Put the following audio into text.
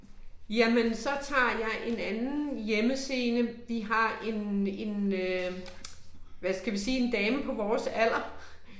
Jamen så tager jeg en anden hjemmescene, vi har en en øh hvad skal vi sige en dame på vores alder